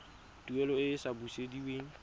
tuelo e e sa busediweng